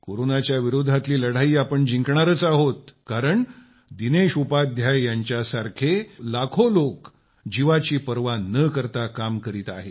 कोरोनाच्या विरोधातली लढाई आपण जिंकणारच आहोत कारण दिनेश उपाध्याय यांच्यासारखे लाखों लाखो लोक जीवाची पर्वा न करता काम करीत आहेत